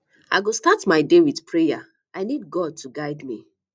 i go start my day with prayer i need god to guide me